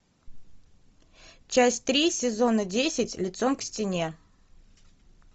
часть три сезона десять лицом к стене